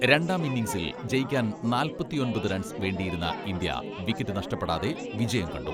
രണ്ടാം ഇന്നിങ്സിൽ ജയിക്കാൻ നാൽപ്പത്തിയൊൻപത് റൺസ് വേണ്ടിയിരുന്ന ഇന്ത്യ വിക്കറ്റ് നഷ്ടപ്പെടാതെ വിജയം കണ്ടു.